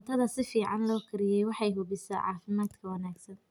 Cuntada si fiican loo kariyey waxay hubisaa caafimaadka wanaagsan.